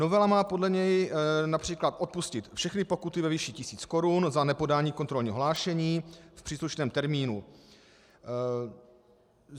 Novela má podle něj například odpustit všechny pokuty ve výši tisíc korun za nepodání kontrolních hlášení v příslušném termínu.